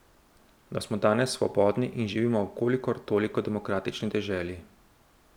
Da smo danes svobodni in živimo v kolikor toliko demokratični deželi.